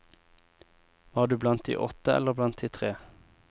Var du blant de åtte eller blant de tre?